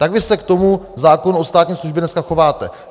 Tak vy se k tomu zákonu o státní službě dneska chováte.